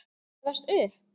Gefast upp!